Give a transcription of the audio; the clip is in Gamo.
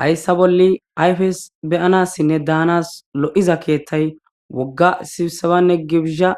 Hayssa bolle ayfes beyanassinne daanas l'7iza keethtay wogga sibsebanne gibszsha